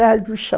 no